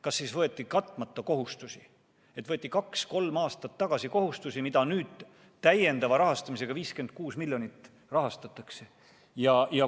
Kas siis võeti katmata kohustusi, kaks-kolm aastat tagasi võeti kohustusi, mida nüüd täiendava rahastamisega – 56 miljonit – rahastatakse?